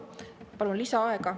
Palun lisaaega.